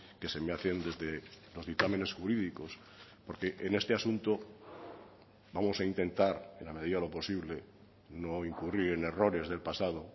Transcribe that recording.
que se me hacen desde los dictámenes jurídicos porque en este asunto vamos a intentar en la medida de lo posible no incurrir en errores del pasado